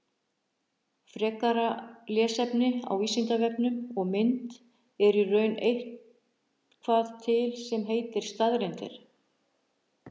Frekara lesefni á Vísindavefnum og mynd Er í raun eitthvað til sem heitir staðreyndir?